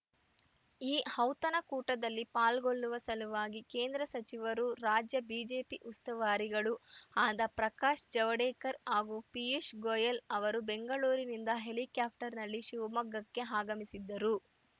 ಈ ಔತಣ ಕೂಟದಲ್ಲಿ ಪಾಲ್ಗೊಳ್ಳುವ ಸಲುವಾಗಿ ಕೇಂದ್ರ ಸಚಿವರೂ ರಾಜ್ಯ ಬಿಜೆಪಿ ಉಸ್ತುವಾರಿಗಳೂ ಆದ ಪ್ರಕಾಶ್‌ ಜಾವಡೇಕರ್‌ ಹಾಗೂ ಪೀಯೂಷ್‌ ಗೋಯಲ್‌ ಅವರು ಬೆಂಗಳೂರಿನಿಂದ ಹೆಲಿಕಾಪ್ಟರ್‌ನಲ್ಲಿ ಶಿವಮೊಗ್ಗಕ್ಕೆ ಆಗಮಿಸಿದ್ದರು